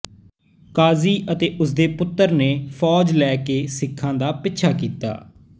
ਕਾਜ਼ੀ ਤੇ ਉਸ ਦੇ ਪੁੱਤਰ ਨੇ ਫ਼ੌਜ ਲੈ ਕੇ ਸਿੱਖਾਂ ਦਾ ਪਿੱਛਾ ਕੀਤਾ